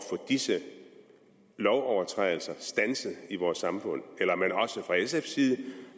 disse lovovertrædelser standset i vores samfund eller er man også fra sfs side